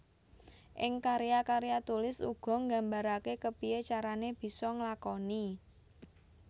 Ing karya karya tulis uga nggambaraké kepiyé carané bisa nglakoni